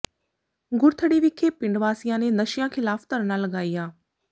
ਗੁਰਥੜੀ ਵਿਖੇ ਪਿੰਡ ਵਾਸੀਆਂ ਨੇ ਨਸ਼ਿਆਂ ਿਖ਼ਲਾਫ਼ ਧਰਨਾ ਲਗਾਇਆ